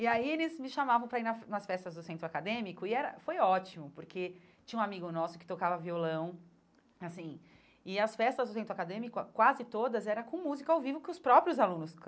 E aí eles me chamavam para ir na nas festas do Centro Acadêmico, e era foi ótimo, porque tinha um amigo nosso que tocava violão, e assim e as festas do Centro Acadêmico, qua quase todas, era com música ao vivo, que os próprios alunos